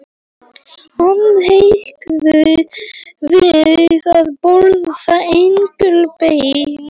Hann hikaði við að bjóða Engilbert inn.